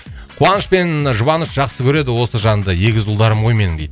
қуаныш пен ы жұбаныш жақсы көреді осы жанды егіз ұлдарым ғой менің дейді